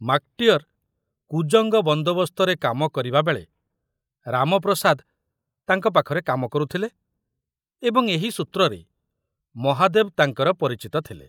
ମାକଟିଅର କୁଜଙ୍ଗ ବନ୍ଦୋବସ୍ତରେ କାମ କରିବାବେଳେ ରାମପ୍ରସାଦ ତାଙ୍କ ପାଖରେ କାମ କରୁଥିଲେ ଏବଂ ଏହି ସୂତ୍ରରେ ମହାଦେବ ତାଙ୍କର ପରିଚିତ ଥିଲେ।